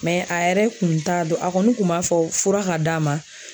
a yɛrɛ kun t'a dɔn a kɔni kun b'a fɔ fura ka d'a ma